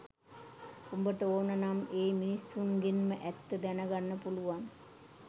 උඹට ඕන නම් ඒ මිනිසුන්ගෙන්ම ඇත්ත දැන ගන්න පුළුවන්